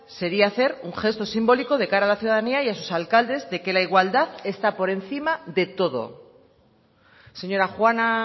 sería hacer un gesto simbólico de cara a la ciudadanía y a sus alcaldes de que la igualdad está por encima de todo señora juana